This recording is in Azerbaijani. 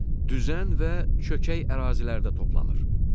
Düzən və çökək ərazilərdə toplanır.